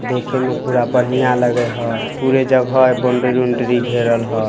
देखे में पूरा बढ़िया लग हई | पुरे जगह ए बाउंड्री ओंड्री घेरल हई ।